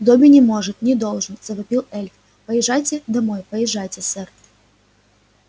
добби не может не должен завопил эльф поезжайте домой поезжайте сэр